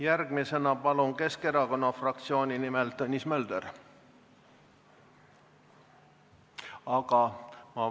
Järgmisena palun kõnepulti Keskerakonna fraktsiooni nimel kõnelema Tõnis Möldri!